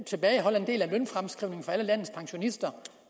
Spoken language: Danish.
tilbageholde en del af lønfremskrivningen for alle landets pensionister